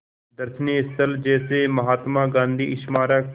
दर्शनीय स्थल जैसे महात्मा गांधी स्मारक